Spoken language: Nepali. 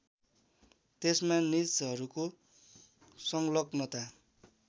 त्यसमा निजहरूको सङ्लग्नता